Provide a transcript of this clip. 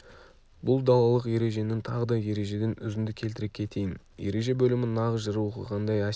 бұл далалық ереженің тағы да ережеден үзінді келтіре кетейін ереже бөлімі нағыз жыр оқығандай әсер